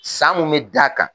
San mun mɛ d'a kan.